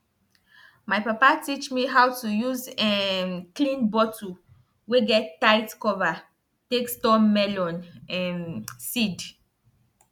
my papa teach me how to use um clean bottle wey get tight cover take store melon um seed